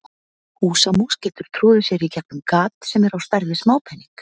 Húsamús getur troðið sér í gegnum gat sem er á stærð við smápening.